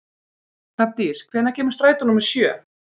Hrafndís, hvenær kemur strætó númer sjö?